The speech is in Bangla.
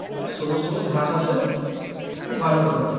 আর সবুজ সবুজ ঘাস আসে। খুব ভালো গ্রাউন্ড টা।